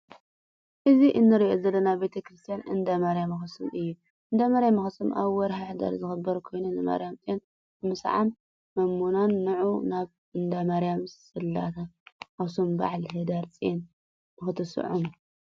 እዚ እንሪኦ ዘለና ቤተክርስትያን እነዳማርያም ኣክሱም እዩ። እንዳማርያም ኣክሱም ኣብ ወርሒ ሕዳር ዝክበር ኮይኑ ንማርያም ፅዮን ንምስዓም መምመናን ንዑ ናብ እነዳማርያም ፅላተ ኣክሱም ባዓል ህዳርፅዩን ንክትስዑሙ።